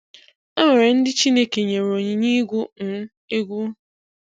E nwere ndị Chineke nyere onyinye ịgụ um egwu